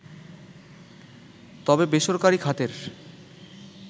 তবে বেসরকারি খাতের